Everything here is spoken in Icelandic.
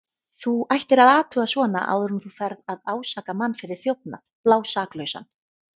Þú ættir að athuga svona áður en þú ferð að ásaka mann fyrir þjófnað, blásaklausan.